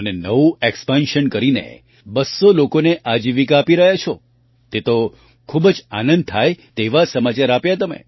અને નવું એક્સપેન્શન કરીને અને 200 લોકોને આજીવિકા આપી રહ્યા છો તે તો ખૂબ જ આનંદ થાય તેવા સમાચાર આપ્યા તમે